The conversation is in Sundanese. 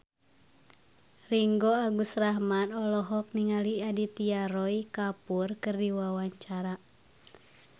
Ringgo Agus Rahman olohok ningali Aditya Roy Kapoor keur diwawancara